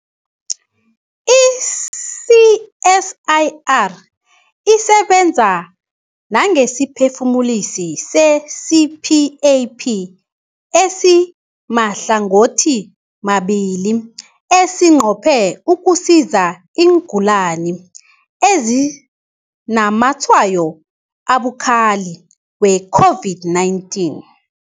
I-CSIR isebenza nangesiphefumulisi se-CPAP esimahlangothimabili esinqophe ukusiza iingulani ezinazamatshwayo abukhali we-COVID-19.